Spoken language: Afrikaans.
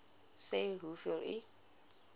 sê hoeveel u